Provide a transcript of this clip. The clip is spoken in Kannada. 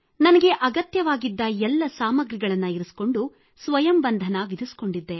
ನನಗೆ ಅಗತ್ಯವಾಗಿದ್ದ ಎಲ್ಲ ಸಾಮಗ್ರಿಗಳನ್ನು ಇರಿಸಿಕೊಂಡು ಸ್ವಯಂ ಬಂಧನ ವಿಧಿಸಿಕೊಂಡಿದ್ದೆ